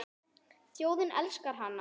Þjóðin elskar hana.